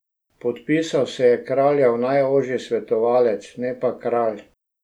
Podpisal se je kraljev najožji svetovalec, ne pa kralj.